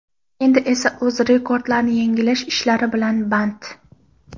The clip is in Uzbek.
Endi esa o‘z rekordlarini yangilash ishlari bilan band.